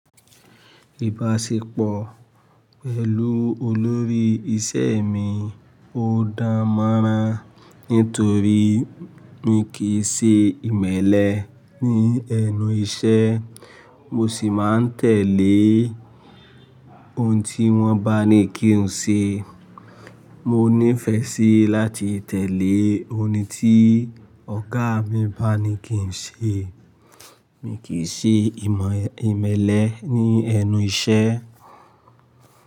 Ìbáṣepọ̀ mi pẹ̀lú olórí iṣẹ́ mi ò dáa mọ́rán nítorí mi kìí ṣe ìmẹ́lẹ́ ní ẹnu iṣẹ́, mo sì máa ń tẹ̀lé ohun tí wọ́n bá ní kí n ṣe. Mo nífẹ̀ẹ́ sí láti tẹ̀lé ohun tí ọ̀gá mi bá ní kí n ṣe. Mi kì í ṣe ìmọ̀ ìmẹ́lẹ́ ní ẹnu iṣẹ́.